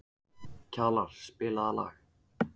Kjalar, spilaðu lag.